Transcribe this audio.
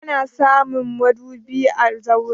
Ana samun madubi a zaure.